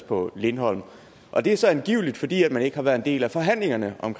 på lindholm og det er så angiveligt fordi man ikke har været en del af forhandlingerne om